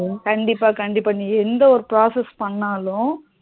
கண்டிப்பா கண்டிப்பா நீ எந்த ஒரு process பண்ணாலும்